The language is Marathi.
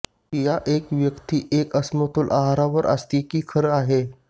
या एक व्यक्ती एक असमतोल आहार वर असते की खरं आहे